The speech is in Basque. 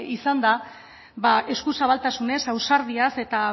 izanda eskuzabaltasunez ausardiaz eta